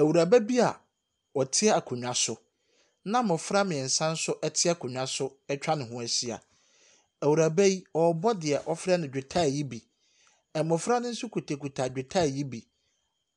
Awuraba bi a ɔte akonnwa so na mmɔfra mmeɛnsa nso te akonnwa so atwa ne ho ahyia. Awuraba yi, ɔrebɔ deɛ wɔfrɛ no dwetae yi bi. Mmɔfra no nso kitakita dwetae yi bi.